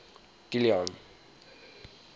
kilian